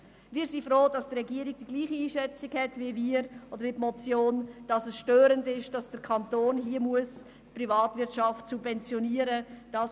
» Wir sind froh, dass die Regierung die gleiche Einschätzung hat wie wir oder wie die Motion, wonach es störend ist, dass der Kanton hier die Privatwirtschaft subventionieren muss.